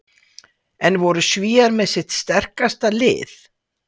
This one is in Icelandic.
En voru Svíar með sitt sterkasta lið?